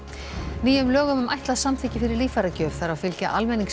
nýjum lögum um ætlað samþykki fyrir líffæragjöf þarf að fylgja